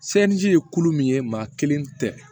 Seleri ye kulu min ye maa kelen tɛ